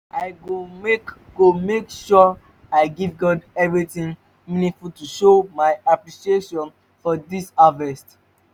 i go make go make sure i give god something meaningful to show my appreciation for dis harvest